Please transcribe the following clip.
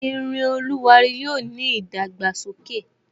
Irin oluwari yóò ní idagbasoke.